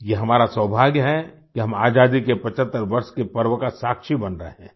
ये हमारा सौभाग्य है कि हम आज़ादी के 75 वर्ष के पर्व का साक्षी बन रहे हैं